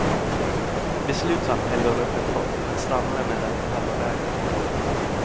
Beslutsam hällde hon upp en kopp men stannade med den på halva vägen.